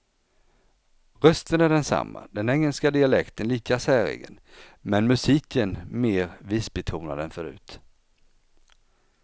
Rösten är densamma, den engelska dialekten lika säregen, men musiken mer visbetonad än förut.